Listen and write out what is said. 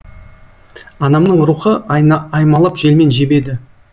анамның рухы аймалап желмен жебеді